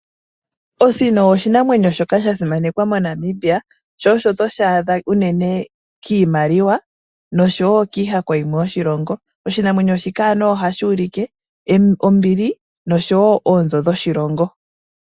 Osino oshinamwenyo shoka shasimanekwa moNamibia sho oto shi adha unene kiimaliwa noshowo kiihako yimwe yoshilongo. Oshinamwenyo shika ohashuulike ombili noshowo oonzo dhoshilongo.